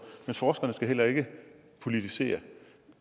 men forskerne skal heller ikke politisere